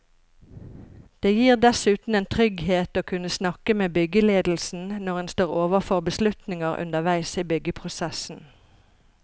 Det gir dessuten en trygghet å kunne snakke med byggeledelsen når en står overfor beslutninger underveis i byggeprosessen.